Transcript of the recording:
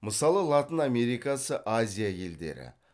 мысалы латын америкасы азия елдері